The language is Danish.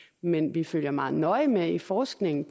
men vi følger meget nøje med i forskningen